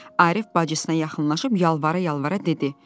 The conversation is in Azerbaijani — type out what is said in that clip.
Arif bacısına yaxınlaşıb yalvara-yalvara dedi: